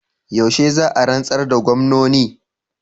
Yaushe za a rantsar da gwamnoni?